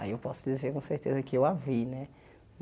Aí eu posso dizer com certeza que eu a vi, né?